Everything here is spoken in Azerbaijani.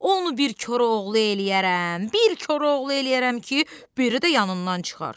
Onu bir Koroğlu eləyərəm, bir Koroğlu eləyərəm ki, biri də yanından çıxar!